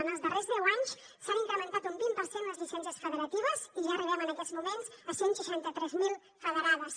en els darrers deu anys s’han incrementat un vint per cent les llicències federatives i ja arribem en aquests moments a cent i seixanta tres mil federades